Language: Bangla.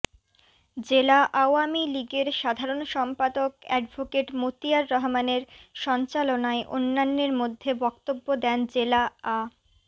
জেলা আওয়ামী লীগের সাধারণ সম্পাদক অ্যাডভোকেট মতিয়ার রহমানের সঞ্চালনায় অন্যান্যের মধ্যে বক্তব্য দেন জেলা আ